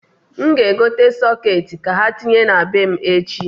N g'egote sọkeeti ka ha tinye na be m echi.